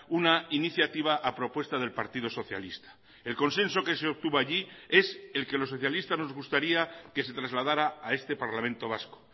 una iniciativa a propuesta del partido socialista el consenso que se obtuvo allí es el que los socialistas nos gustaría que se trasladara a este parlamento vasco